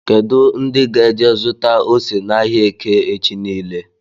Kedụ ndị ga-eje zụta ose na áhiá eke echi niile??